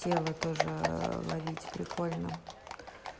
тело тоже ловить прикольно